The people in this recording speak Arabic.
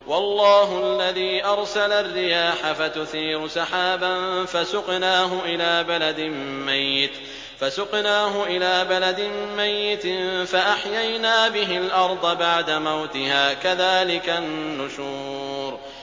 وَاللَّهُ الَّذِي أَرْسَلَ الرِّيَاحَ فَتُثِيرُ سَحَابًا فَسُقْنَاهُ إِلَىٰ بَلَدٍ مَّيِّتٍ فَأَحْيَيْنَا بِهِ الْأَرْضَ بَعْدَ مَوْتِهَا ۚ كَذَٰلِكَ النُّشُورُ